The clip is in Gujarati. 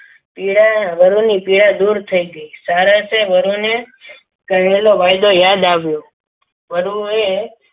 પીડા વરૂડી પીડા દૂર થઈ ગઈ સારા છે વરુને કહેલો વાયદો યાદ આવ્યો. વરુએ